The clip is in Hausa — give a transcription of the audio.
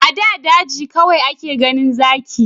A da daji kawai ake ganin zaki